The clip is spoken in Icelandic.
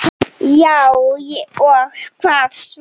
Já og hvað svo!